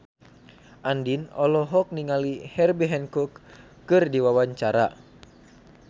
Andien olohok ningali Herbie Hancock keur diwawancara